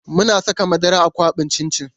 Muna saka madara a kwaɓin cin cin.